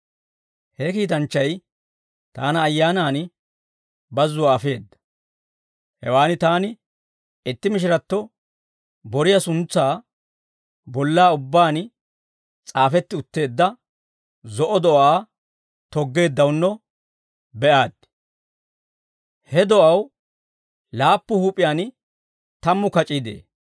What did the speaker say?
He kiitanchchay taana Ayyaanan bazzuwaa afeedda. Hewan taani itti mishiratto boriyaa suntsay bollaa ubbaan s'aafetti utteedda zo'o do'aa toggeeddawunno be'aaddi; he do'aw laappu huup'iyaan tammu kac'ii de'ee.